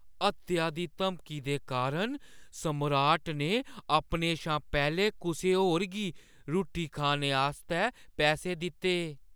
हत्या दी धमकी दे कारण सम्राट ने अपने शा पैह्‌लें कुसै होर गी रुट्टी खाने आस्तै पैसे दित्ते।